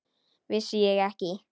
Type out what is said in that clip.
Vissi ég ekki!